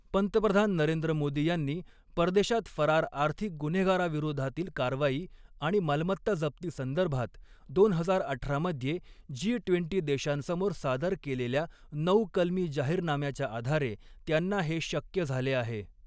पंतप्रधान नरेंद्र मोदी यांनी परदेशात फरार आर्थिक गुन्हेगाराविरोधातील कारवाई आणि मालमत्ता जप्ती संदर्भात दोन हजार अठरा मध्ये जी वीस देशांसमोर सादर केलेल्या ऩऊ कलमी जाहीरनाम्याच्या आधारे त्यांना हे शक्य झाले आहे.